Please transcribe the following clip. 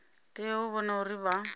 tea u vhona uri vha